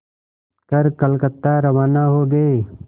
कर कलकत्ता रवाना हो गए